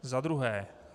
Za druhé.